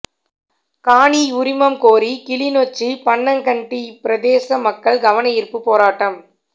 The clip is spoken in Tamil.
காணி உரிமம் கோரி கிளிநொச்சி பன்னங்கண்டி பிரதேச மக்கள் கவனயீர்ப்பு போராட்டம்